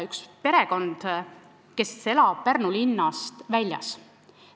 Perekond elab Pärnu linnast väljas.